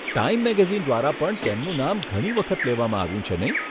Time magazine દ્વારા પણ તેમનું નામ ઘણી વખત લેવામાં આવ્યું છે, નહીં?